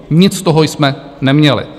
Nic z toho jsme neměli.